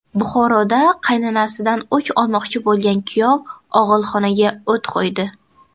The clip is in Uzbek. Buxoroda qaynanasidan o‘ch olmoqchi bo‘lgan kuyov og‘ilxonaga o‘t qo‘ydi.